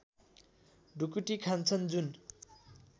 ढुकुटी खान्छन् जुन